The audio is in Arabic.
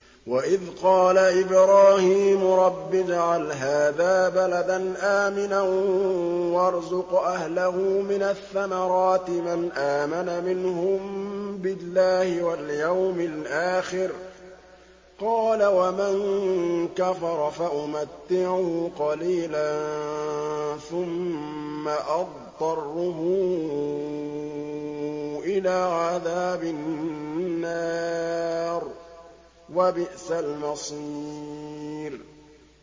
وَإِذْ قَالَ إِبْرَاهِيمُ رَبِّ اجْعَلْ هَٰذَا بَلَدًا آمِنًا وَارْزُقْ أَهْلَهُ مِنَ الثَّمَرَاتِ مَنْ آمَنَ مِنْهُم بِاللَّهِ وَالْيَوْمِ الْآخِرِ ۖ قَالَ وَمَن كَفَرَ فَأُمَتِّعُهُ قَلِيلًا ثُمَّ أَضْطَرُّهُ إِلَىٰ عَذَابِ النَّارِ ۖ وَبِئْسَ الْمَصِيرُ